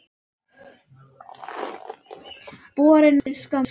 Borin fyrir skömmu.